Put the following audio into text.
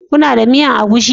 Kuna da miyan egusi?